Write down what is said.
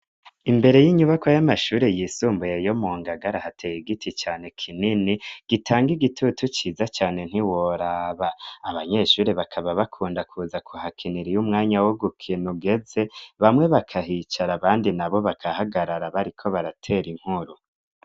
Imbere y'inyubakwa y'amashure yisumbuye yo mu Ngagara hateye igiti cane kinini gitanga igitutu ciza cane ntiworaba, abanyeshure bakaba bakunda kuza kuhakinira iy'umwanya wo gukina ugeze, bamwe bakahicara abandi nabo bakahahagarara bariko baratera inkuru.